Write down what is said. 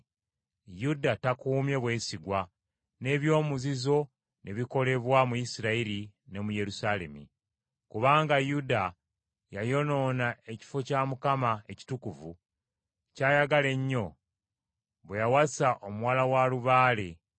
Yuda takuumye bwesigwa n’eby’omuzizo ne bikolebwa mu Isirayiri ne mu Yerusaalemi. Kubanga Yuda yayonoona ekifo kya Mukama ekitukuvu, ky’ayagala ennyo, bwe yawasa omuwala wa lubaale.